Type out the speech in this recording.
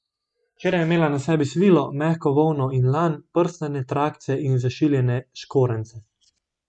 Včeraj je imela na sebi svilo, mehko volno in lan, prstane, trakce in zašiljene škorenjce.